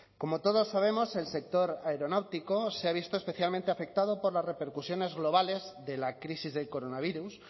como todos sabemos el sector aeronáutico se ha visto especialmente afectado por las repercusiones globales de la crisis del coronavirus